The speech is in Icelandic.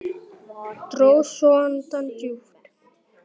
Dró svo andann djúpt.